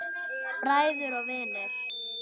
Bræður og vinir.